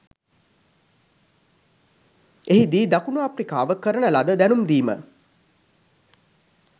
එහි දී දකුණු අප්‍රිකාව කරන ලද දැනුම්දීම